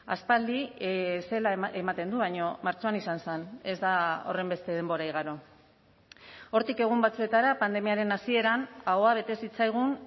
aspaldi zela ematen du baino martxoan izan zen ez da horrenbeste denbora igaro hortik egun batzuetara pandemiaren hasieran ahoa bete zitzaigun